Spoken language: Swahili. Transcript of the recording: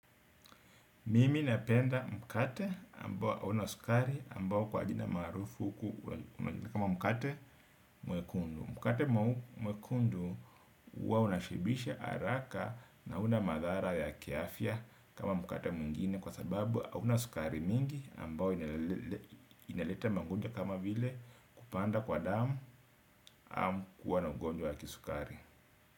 Mimi napenda mkate ambao hauna sukari ambao kwa jina maarufu kama mkate mwekundu. Mkate mwekundu huwa unashibisha araka na huna madhara ya kiafya kama mkate mwingine kwa sababu hauna sukari mingi ambao inaleta magonjwa kama vile kupanda kwa damu amu kuwa na ugonjwa ya kisukari.